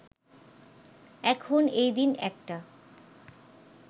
এখন, এই দিন, একটা